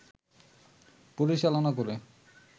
পরিচালনা করে